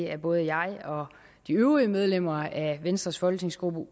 at både jeg og de øvrige medlemmer af venstres folketingsgruppe